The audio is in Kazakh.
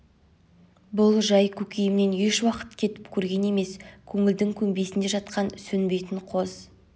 бұл жай көкейімнен еш уақыт кетіп көрген емес көңілдің көмбесінде жатқан сөнбейтін қоз